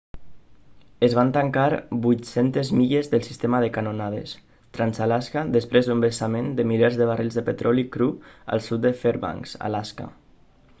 es van tancar 800 milles del sistema de canonades trans-alaska després d'un vessament de milers de barrils de petroli cru al sud de fairbanks alaska